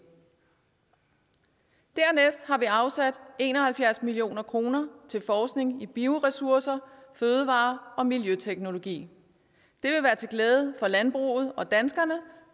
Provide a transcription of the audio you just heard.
dernæst har vi afsat en og halvfjerds million kroner til forskning i bioressourcer fødevarer og miljøteknologi det vil være til glæde for landbruget og danskerne